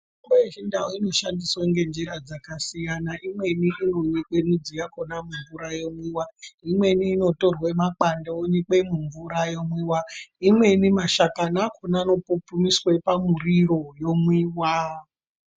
Mitombo yeChiNdau inoshandiswe ngenjira dzakasiyana. Imweni inonyikwe midzi yakona mumvura yomwiwa. Imweni inotorwe makwande onyikwe mumvura yomwiwa, imweni mashakani akona anopupumiswe pamuriro yomwiwa.